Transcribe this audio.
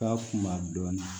Ka kunba dɔɔnin